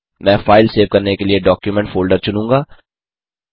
मैं file save करने के लिए डॉक्यूमेंट फ़ोल्डर चुनूँगा